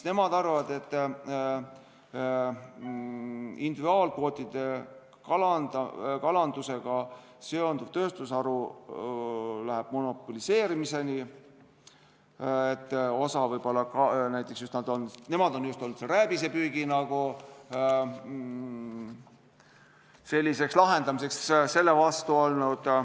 Nemad arvavad, et individuaalkvoodikalandusega seonduv tööstusharu läheb monopoliseerimiseni, osa võib-olla, näiteks nemad on rääbisepüügil sellise lahenduse vastu olnud.